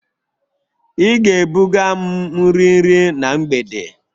Ị ga-ebuga m nri nri na mgbede!